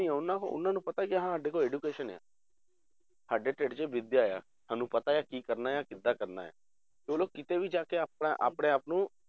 ਨੀ ਆ ਉਹਨਾਂ ਨੂੰ ਉਹਨਾਂ ਨੂੰ ਪਤਾ ਕਿ ਸਾਡੇ ਕੋਲ education ਆ ਸਾਡੇ ਢਿੱਡ 'ਚ ਵਿਦਿਆ ਹੈ ਸਾਨੂੰ ਪਤਾ ਹੈ ਕੀ ਕਰਨਾ ਕਿੱਦਾਂ ਕਰਨਾ ਹੈ, ਤੇ ਉਹ ਲੋਕ ਕਿਤੇ ਵੀ ਜਾ ਕੇ ਆਪਣਾ ਆਪਣੇ ਆਪ ਨੂੰ